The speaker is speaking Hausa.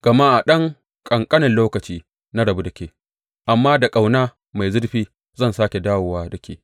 Gama a ɗan ƙanƙanen lokaci na rabu da ke, amma da ƙauna mai zurfi zan sāke dawo da ke.